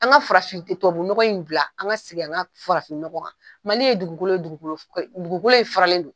An ka farafin tɛ tubabunɔgɔ in bila an ka segin an ka farafin nɔgɔ in ma, Mali ye dugukolo ye dugukolo dugukolo in faralen don.